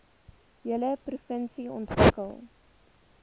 hele provinsie ontwikkel